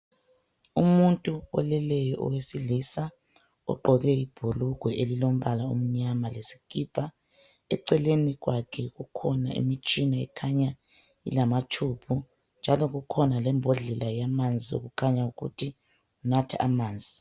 Umuntu oleleyo owesilisa ogqoke ibhulugwe elilombala omnyama lesikipa. Eceleni kwakhe kukhona imitshina ekhanya ilama tshubhu, njalo kukhona lembodlela yamanzi okukhanya ukuthi unathe amanzi